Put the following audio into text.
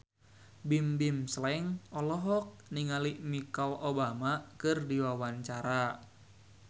Bimbim Slank olohok ningali Michelle Obama keur diwawancara